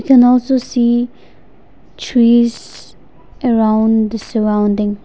can also see trees around the surrounding.